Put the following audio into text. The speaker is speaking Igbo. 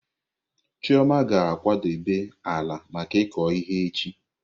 Chioma ga-akwadebe ala maka ịkụ ihe echi.